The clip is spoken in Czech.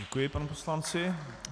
Děkuji panu poslanci.